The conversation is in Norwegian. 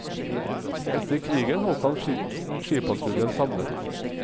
Etter krigen holdt han skipatruljen samlet.